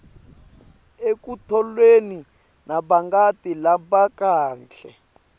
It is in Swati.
ekutholeni nabangani labakahle